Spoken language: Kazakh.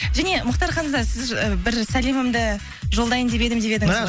және мұхтар ханзада сіз ы бір сәлемімді жолдайын деп едім деп едіңіз ғой